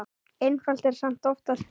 Einfalt er samt oftast best.